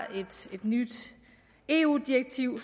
et nyt eu direktiv